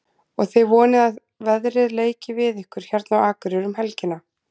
Og þið vonið að veðrið leiki við ykkur hérna á Akureyri um helgina?